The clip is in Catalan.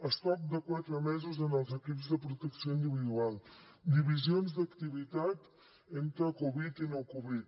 estoc de quatre mesos en els equips de protecció individual divisions d’activitat entre covid i no covid